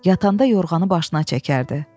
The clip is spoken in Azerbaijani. Yatanda yorğanı başına çəkərdi.